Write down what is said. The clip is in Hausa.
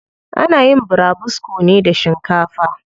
Ana yin burabusko ne da shinkafa.